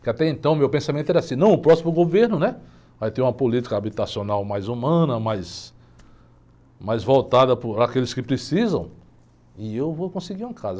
Porque até então meu pensamento era assim, não, o próximo governo, né? Vai ter uma política habitacional mais humana, mais, mais voltada por aqueles que precisam e eu vou conseguir uma casa.